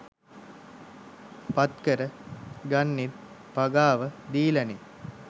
පත්කර ගන්නෙත් පගාව දීලනෙ.